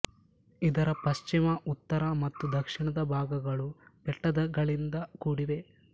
ಇದರ ಪಶ್ಚಿಮ ಉತ್ತರ ಮತ್ತು ದಕ್ಷಿಣದ ಭಾಗಗಳು ಬೆಟ್ಟಗಳಿಂದ ಕೂಡಿವೆ